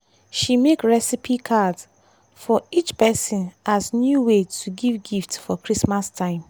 she make recipe cards for each person as new way to give gift for christmas time.